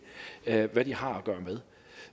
ved hvad de har